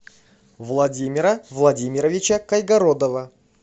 владимира владимировича кайгородова